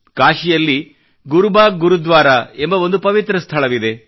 ಕಾಶಿಯಲ್ಲಿ ಗುರುಬಾಗ್ ಗುರುದ್ವಾರ ಎಂಬ ಒಂದು ಪವಿತ್ರ ಸ್ಥಳವಿದೆ